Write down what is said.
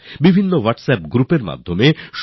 অনেক WhatsApp group তৈরি হল